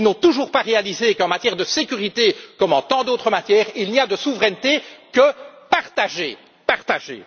Ils n'ont toujours pas réalisé qu'en matière de sécurité, comme en tant d'autres matières, il n'y a de souveraineté que partagée.